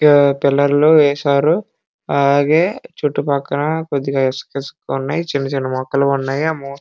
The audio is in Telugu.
సిమెంట్ వేశారు పక్కన చిన్న చిన్న మొక్కలు ఉన్నాయి చాల బాగా ఉన్నాయి.